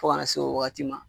Fo ka na se o wagati ma